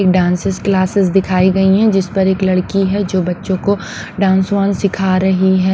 एक dances classes दिखाई गई हैं जिस पर एक लड़की है जो बच्चों को डांसवान सिखा रही है।